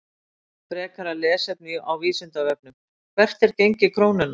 Frekara lesefni á Vísindavefnum: Hvert er gengi krónunnar?